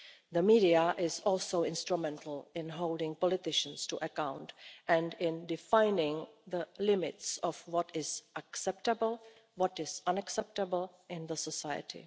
The media are also instrumental in holding politicians to account and in defining the limits of what is acceptable and what is unacceptable in society.